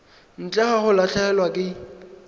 ntle ga go latlhegelwa ke